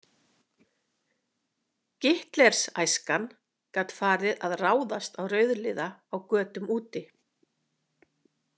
Gitlers- æskan gat farið að ráðast á rauðliða á götum úti.